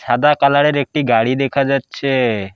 সাদা কালারের একটি গাড়ি দেখা যাচ্ছে।